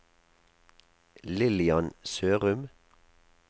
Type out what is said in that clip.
Lillian Sørum